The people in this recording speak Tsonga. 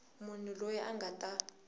munhu loyi a nga ta